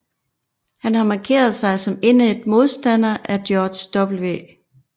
Han har markeret sig som indædt modstander af George W